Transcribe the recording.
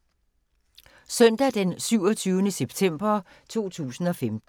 Søndag d. 27. september 2015